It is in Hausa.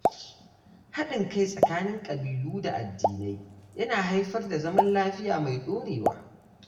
Hadin kai tsakanin kabilu da addinai yana haifar da zaman lafiya mai dorewa.